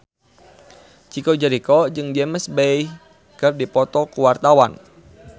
Chico Jericho jeung James Bay keur dipoto ku wartawan